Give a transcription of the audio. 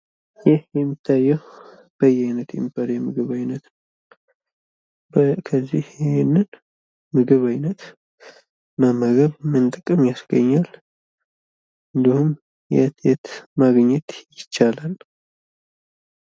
ይህ የሚታየው በየአይነት የሚባል የምግብ አይነት ነው። ከዚህ የምግብ አይነት መመገብ ምን ጥቅም ያስገኛል? እንድሁም የትየት ማግኘት ይቻላል?